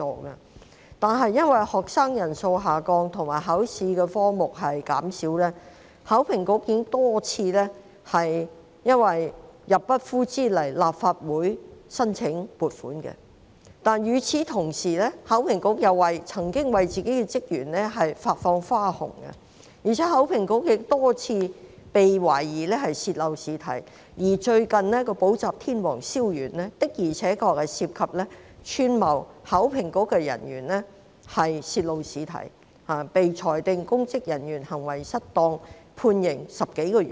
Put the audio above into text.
由於學生人數下降及考試科目減少，考評局已多次因入不敷支而要向立法會申請撥款，但同時考評局又曾向自己的職員發放花紅，而且亦多次被懷疑泄漏試題，最近就有一名補習天王蕭源因涉及串謀考評局人員泄露試題，被裁定串謀公職人員行為失當罪成，判刑10多個月。